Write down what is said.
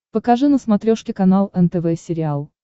покажи на смотрешке канал нтв сериал